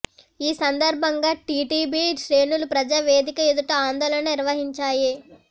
ఈ సందర్భంగా టీడీపి శ్రేణులు ప్రజా వేదిక ఎదుట ఆందోళన నిర్వహించాయి